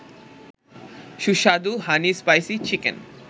সুস্বাদু হানি-স্পাইসি-চিকেন